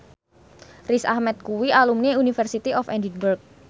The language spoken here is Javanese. Riz Ahmed kuwi alumni University of Edinburgh